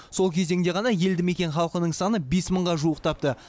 сол кезеңде ғана елді мекен халқының саны бес мыңға жуықтапты